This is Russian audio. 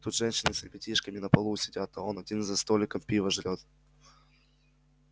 тут женщины с ребятишками на полу сидят а он один за столиком пиво жрёт